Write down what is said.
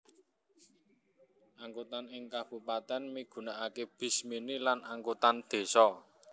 Angkutan ing kabupatèn migunaaké bis mini lan angkutan désa